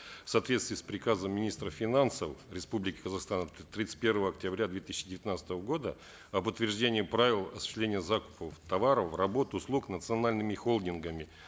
в соответствии с приказом министра финансов республики казахстан от тридцать первого октября две тысячи девятнадцатого года об утверждении правил осуществления закупов товаров работ услуг национальными холдингами